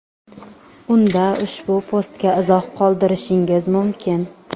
unda ushbu postga izoh qoldirishingiz mumkin.